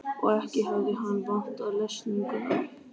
Og ekki hefði hann vantað lesninguna.